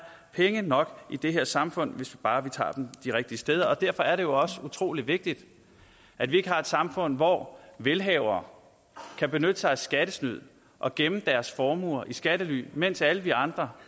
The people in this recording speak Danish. penge nok i det her samfund hvis bare vi tager dem de rigtige steder derfor er det jo også utrolig vigtigt at vi ikke har et samfund hvor velhavere kan benytte sig af skattesnyd og gemme deres formuer i skattely mens alle vi andre